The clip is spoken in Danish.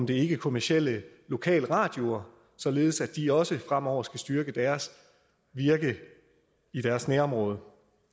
de ikkekommercielle lokalradioer således at de også fremover skal styrke deres virke i deres nærområde